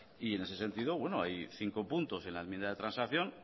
en ese sentido hay cinco puntos en la enmienda de transacción